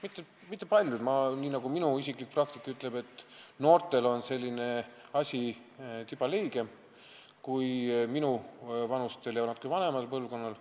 Mitte küll paljud, minu isiklik kogemus ütleb, et noortel on see suhtumine tiba leigem kui minuvanustel ja natukene vanemal põlvkonnal.